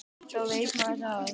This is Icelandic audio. Þá veit maður það.